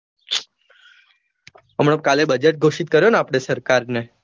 હમણાં કાલે બજેટ ઘોષિત કર્યો ને આપડે સરકાર ને